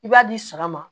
I b'a di saga ma